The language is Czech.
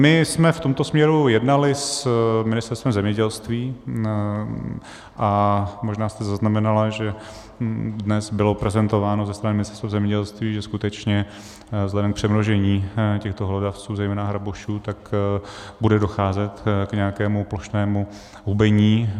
My jsme v tomto směru jednali s Ministerstvem zemědělství, a možná jste zaznamenala, že dnes bylo prezentováno ze strany Ministerstva zemědělství, že skutečně vzhledem k přemnožení těchto hlodavců, zejména hrabošů, bude docházet k nějakému plošnému hubení.